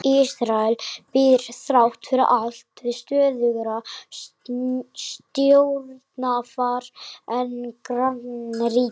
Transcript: Ísrael býr þrátt fyrir allt við stöðugra stjórnarfar en grannríkin.